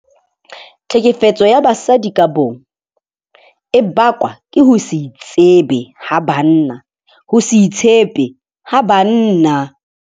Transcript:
Tlhekefetso ya basadi ka bong e bakwa ke ho se itsebe ha banna, ho se itshepe ha banna.